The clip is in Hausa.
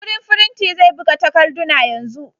Wurin firinti zai buga takarduna yanzu.